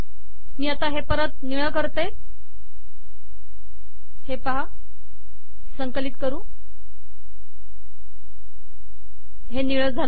मी हे परत निळे करते संकलित करते